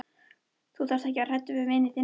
Þú þarft ekki að vera hræddur við vin þinn.